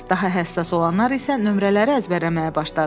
Daha həssas olanlar isə nömrələri əzbərləməyə başladılar.